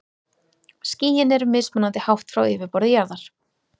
Skýin eru mismunandi hátt frá yfirborði jarðar.